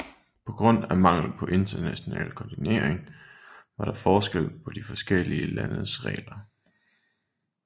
På grund af mangel på international koordinering var der forskel på de forskellige landes regler